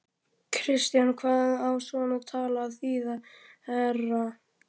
KRISTJÁN: Hvað á svona tal að þýða, herra